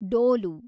ಡೋಲು